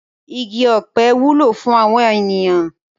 Igi ọ̀pẹ wúlò fún àwọn ènìyàn.